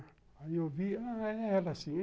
Aí eu vi, é ela sim.